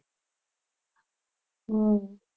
હમ